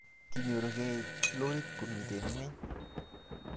kinyoregei lorit komiten ngweny